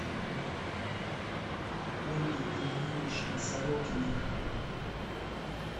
ольге ильиничне сорокиной